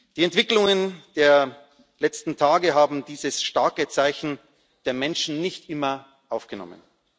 Die Entwicklungen der letzten Tage haben dieses starke Zeichen der Menschen nicht immer aufgenommen.